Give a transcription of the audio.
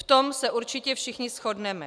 V tom se určitě všichni shodneme.